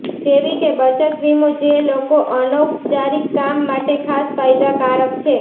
જેવી કે બચત વીમો જે લોકો અનૌપચારિક કામ માટે ખાસ ફાયદાકારક છે